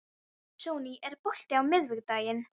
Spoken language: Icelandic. Sonný, er bolti á miðvikudaginn?